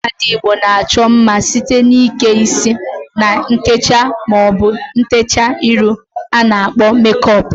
Ụmụada Igbo na-achọ mma site n'ike isi na nkecha maọbụ ntecha iru a na-akpọ mekọp.